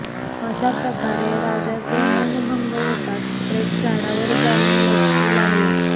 अशा प्रकारे राजाचे मौनभंग होताच प्रेत झाडावर जाऊन लटकू लागले